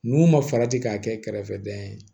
N'u ma farati k'a kɛ kɛrɛfɛdɛn ye